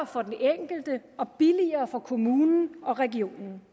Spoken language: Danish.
for den enkelte og billigere for kommunen og regionen